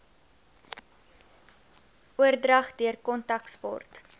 oordrag deur kontaksport